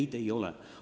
Neid ei ole.